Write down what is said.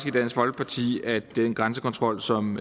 i dansk folkeparti at den grænsekontrol som